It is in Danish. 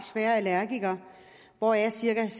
svære allergikere hvoraf cirka